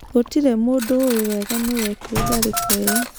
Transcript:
Gũtirĩ mũndũ ũĩ wega nũũ wekĩrire tharĩko ĩo.